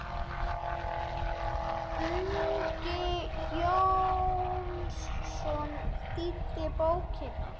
Uggi Jónsson þýddi bókina.